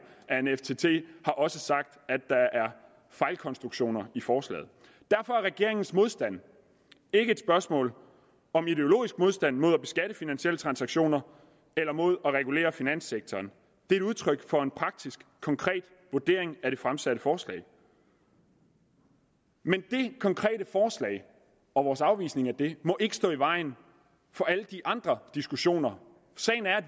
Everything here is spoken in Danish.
af en ftt har også sagt at der er fejlkonstruktioner i forslaget derfor er regeringens modstand ikke et spørgsmål om ideologisk modstand mod at beskatte finansielle transaktioner eller mod at regulere finanssektoren men udtryk for en praktisk konkret vurdering af det fremsatte forslag men det konkrete forslag og vores afvisning af det må ikke stå i vejen for alle de andre diskussioner sagen er